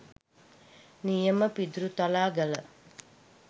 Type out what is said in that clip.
නියම පිදුරුතලාගල